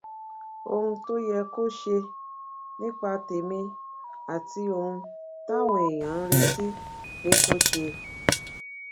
ohun tó yẹ kó ṣe nípa tèmí àti ohun táwọn èèyàn ń retí pé kó ṣe